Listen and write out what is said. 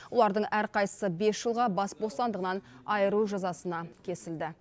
олардың әрқайсысы бес жылға бас бостандығынан айырылу жазасына кесілді